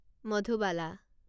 Madhubala